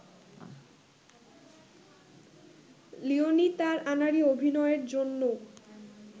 Leonie তার আনাড়ি অভিনয়ের জন্য